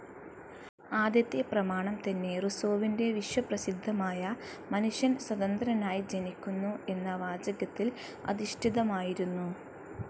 ആദ്യത്തെ പ്രമാണം തന്നെ റുസോവിൻ്റെ വിശ്വപ്രസിദ്ധമായ മനുഷ്യൻ സ്വതന്ത്രനായി ജനിക്കുന്നു എന്ന വാചകത്തിൽ അധിഷ്ഠിതമായിരുന്നു.